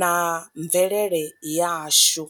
na mvelele yashu.